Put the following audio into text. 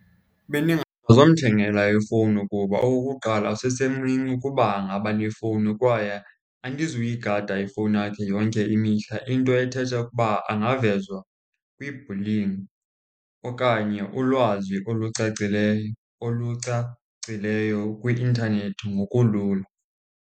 Bendingazomthengela ifowuni kuba okukuqala usesemncinci ukuba angaba nefowuni kwaye andizuyigada ifowuni yakhe yonke imihla. Into ethetha ukuba angavezwa kwibhulingi okanye ulwazi olucacileyo, olucacileyo kwi-intanethi ngokulula.